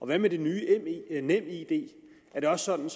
hvad med den nye nemid er det også sådan